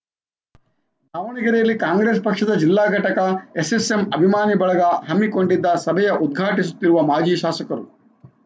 ದಾವಣಗೆರೆಯಲ್ಲಿ ಕಾಂಗ್ರೆಸ್‌ ಪಕ್ಷದ ಜಿಲ್ಲಾ ಘಟಕ ಎಸ್ಸೆಸ್ಸೆಂ ಅಭಿಮಾನಿ ಬಳಗ ಹಮ್ಮಿಕೊಂಡಿದ್ದ ಸಭೆಯ ಉದ್ಘಾಟಿಸುತ್ತಿರುವ ಮಾಜಿ ಶಾಸಕರು